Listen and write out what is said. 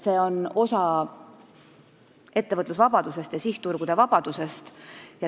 See on osa ettevõtlusvabadusest ja sihtturgude vabadusest.